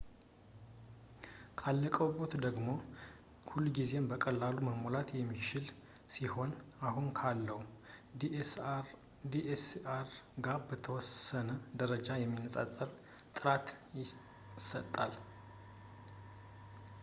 ካለቀብዎት ደግሞ ሁልጊዜም በቀላሉ መሞላት የሚችል ሲሆን አሁን ካለው dslr ጋር በተወሰነ ደረጃ የሚነፃፀር ጥራት ይሰጣል